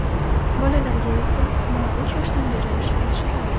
Bolalarga esa xurmo uch yoshdan berish yaxshiroq.